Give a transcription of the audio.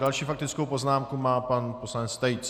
Další faktickou poznámku má pan poslanec Tejc.